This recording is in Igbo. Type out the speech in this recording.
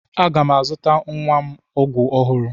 Aga m azụtara nwa m ọgwụ ọhụrụ.